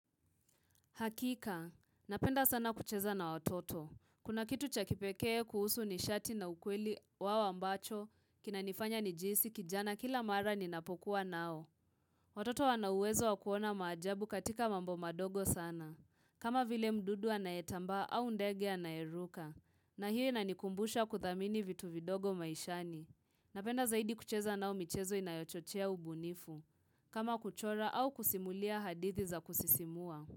Hakika, napenda sana kucheza na watoto. Kuna kitu cha kipekee kuhusu nishati na ukweli wao ambacho, kinanifanya ni jihisi kijana kila mara ni napokuwa nao. Watoto wana uwezo wakuona maajabu katika mambo madogo sana. Kama vile mdudu anayetambaa au ndege anayeruka. Na hiyo inanikumbusha kuthamini vitu vidogo maishani. Napenda zaidi kucheza nao michezo inayochochea ubunifu. Kama kuchora au kusimulia hadithi za kusisimua.